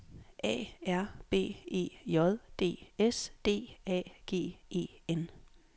A R B E J D S D A G E N